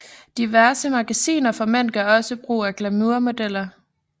Diverse magasiner for mænd gør også brug af glamour modeller